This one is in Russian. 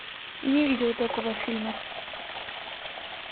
не видела такого фильма